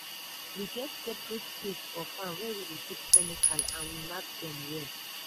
we get separate place for farm where we dey keep chemical and we mark am well.